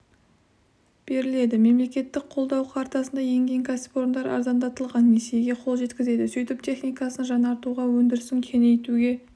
беріледі мемлекеттік қолдау картасына енген кәсіпорындар арзандатылған несиеге қол жеткізеді сөйтіп техникасын жаңартуға өндірісін кеңейтуге